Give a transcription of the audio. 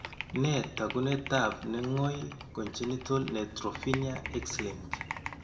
Nee taakunetaab ne ngoy congenital neutropenia Xlinked?